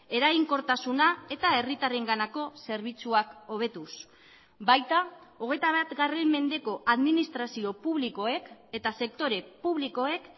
eraginkortasuna eta herritarrenganako zerbitzuak hobetuz baita hogeita bat mendeko administrazio publikoek eta sektore publikoek